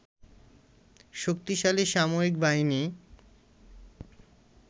শক্তিশালী সামরিক বাহিনী